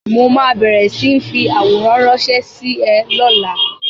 Mo ma bẹ̀rẹ̀ sí ń fi àwòrán ránsẹ́ sí ẹ lọ́la